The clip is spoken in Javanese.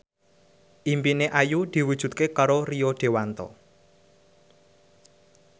impine Ayu diwujudke karo Rio Dewanto